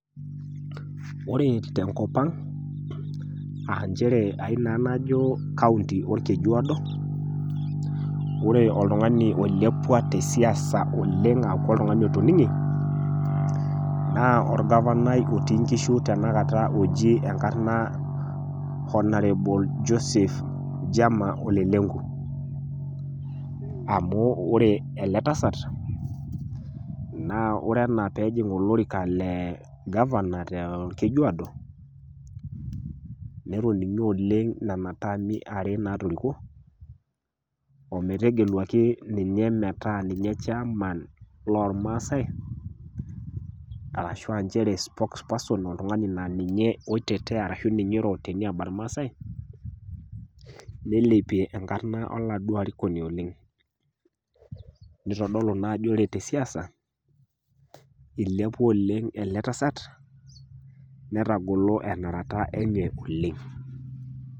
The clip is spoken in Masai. Ore tenkop ang' aa inchere aii naa najo county orkejuodo oree oltung'ani olilepua tesiasa oleng' aaku oltung'ani otoning'ne naa orgavanai ootii inkishu tanakata ojii enkarna honoured Joseph Jama ole Lenku amuu oree ele tasat naa ore enaa peejing' olorika lee governor toorkejuodoo tetoning'e oleng' nenataami are naatoriko ometegeluaki ninye meeta ninye chairman loormaasai arashuu aa nchere spokesperson oltung'ani laa ninye oitetea arashu ninye eiro te niaba ormaasai neilepie enkarna oladuio arikoni oleng' neitodolu naa ajo ore tesiaisa elepua oleng' ele tasat netagolo enarata enye oleng'.